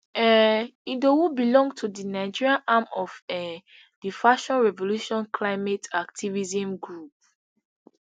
um idowu belong to di nigerian arm of um di fashion revolution climate activism group